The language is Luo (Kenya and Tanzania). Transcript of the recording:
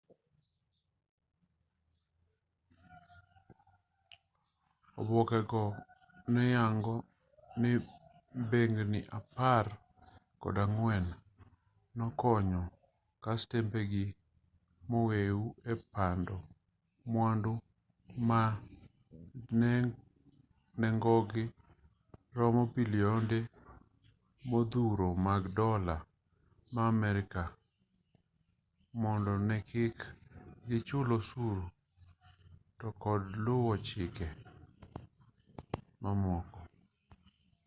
oboke go ne yango ni bengni apar kod ang'wen nokonyo kastembe gi momeu e pando mwandu ma nengogi romo bilionde modhuro mag dola ma amerka mondo ne kik gichul osuru to kod luwo chike mamoko